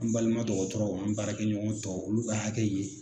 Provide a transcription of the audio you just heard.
An balima dɔgɔtɔrɔw an baarakɛɲɔgɔn tɔw olu ka hakɛ ye